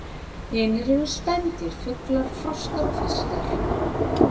Hinir eru spendýr, fuglar, froskdýr og fiskar.